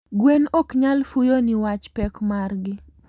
gwen knyal fuyo niwach pek margi